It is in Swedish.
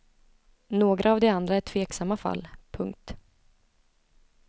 Några av de andra är tveksamma fall. punkt